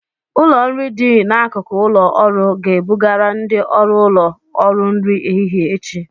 Ụlọ nri dị n'akụkụ ụlọ ọrụ ga-ebugara ndị ọrụ ụlọ ọrụ nri ehihie echi